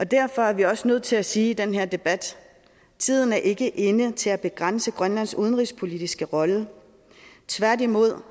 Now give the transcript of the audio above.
derfor er vi også nødt til sige i den her debat tiden er ikke inde til at begrænse grønlands udenrigspolitiske rolle tværtimod